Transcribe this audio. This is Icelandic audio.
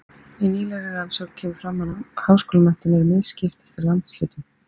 í nýlegri rannsókn kemur fram að háskólamenntun er misskipt eftir landshlutum